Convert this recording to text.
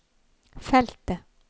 feltet